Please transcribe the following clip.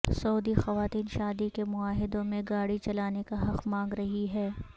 سعودی خواتین شادی کے معاہدوں میں گاڑی چلانے کا حق مانگ رہی ہیں